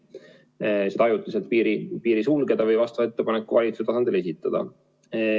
Oleks saanud ajutiselt piiri sulgeda või vastava ettepaneku valitsuse tasandil esitada.